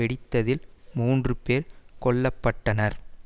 ஆறு அமெரிக்கர் உட்பட நாற்பது பேர் காயமடைந்தனர்